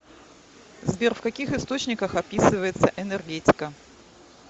сбер в каких источниках описывается энергетика